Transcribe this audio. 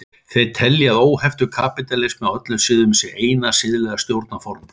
Þeir telja að óheftur kapítalismi á öllum sviðum sé eina siðlega stjórnarformið.